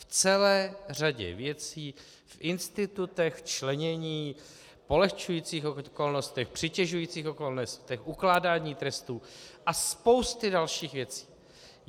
V celé řadě věcí, v institutech, členění, polehčujících okolnostech, přitěžujících okolnostech, ukládání trestů a spousty dalších věcí.